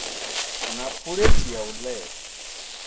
na phulethi ya u ela